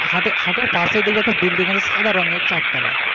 হাটের হাটের পাশেই দেখবি একটা building আছে সাদা রঙের চারতালা,